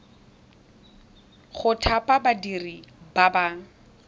go thapa badiri ba ba